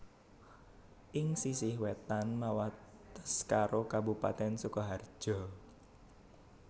Ing sisih wétan mawates karo kabupatèn Sukaharja